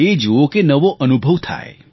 એ જૂઓ કે નવો અનુભવ થાય